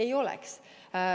Ei oleks.